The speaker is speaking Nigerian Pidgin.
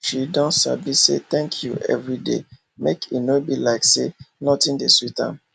she don sabi say thanku every day make e nor be like say nothin de sweet am